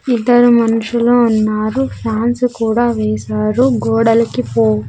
ఇద్దరు మనుషులు ఉన్నారు ఫ్యాన్స్ కూడా వేశారు గోడల్కి పోం--